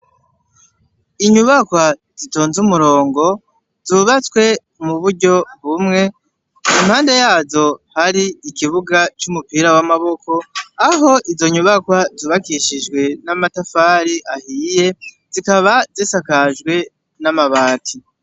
Inyubakwa zitonze umurongo zubatswe mu buryo bumwe, impande yazo hari ikibuga c'umupira w'amaboko, aho izo nyubakwa zubakishijwe n'amatafari ahiye, zikaba zisakajwe n'amabati.